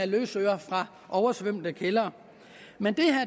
løsøre fra oversvømmede kældre men